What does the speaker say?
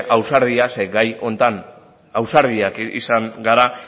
ausardia zeren gai honetan ausartak izan gara